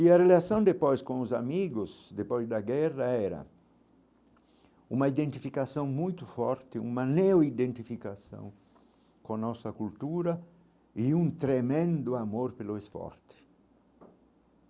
E a relação depois com os amigos, depois da guerra era uma identificação muito forte, uma neo-identificação com a nossa cultura e um tremendo amor pelo esporte.